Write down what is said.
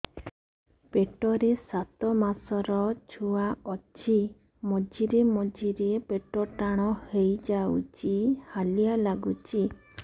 ପେଟ ରେ ସାତମାସର ଛୁଆ ଅଛି ମଝିରେ ମଝିରେ ପେଟ ଟାଣ ହେଇଯାଉଚି ହାଲିଆ ଲାଗୁଚି